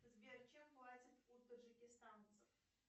сбер чем платят у таджикистанцев